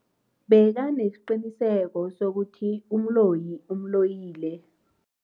Bekanesiqiniseko sokuthi umloyi umloyile.